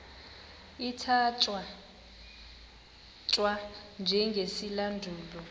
ithatya thwa njengesilandulo